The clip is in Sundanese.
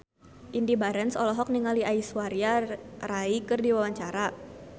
Indy Barens olohok ningali Aishwarya Rai keur diwawancara